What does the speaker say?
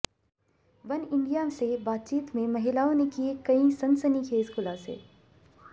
Oneindia से बातचीत में महिलाओं ने किए कई सनसनीखेज खुलासे